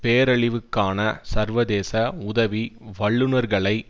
பேரழிவுக்கான சர்வதேச உதவி வல்லுனர்களை